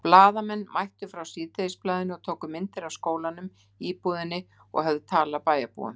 Blaðamenn mættu frá Síðdegisblaðinu og tóku myndir af skólanum, íbúðinni og höfðu tal af bæjarbúum.